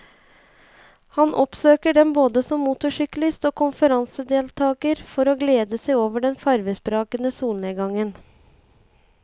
Han oppsøker den både som motorsyklist og konferansedeltager for å glede seg over den farvesprakende solnedgangen.